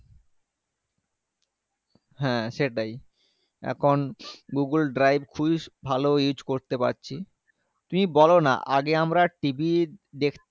হ্যাঁ সেটাই এখন google drive খুবই ভালো use করতে পারছি তুমি বলোনা আগে আমরা TV দেখ